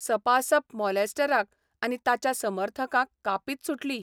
सपासप मॉलेस्टराक आनी ताच्या समर्थकांक कापीत सुटली.